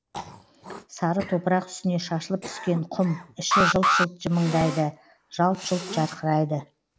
сары топырақ үстіне шашылып түскен құм іші жылт жылт жымыңдайды жалт жұлт жарқырайды